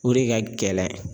O de ka gɛlɛn.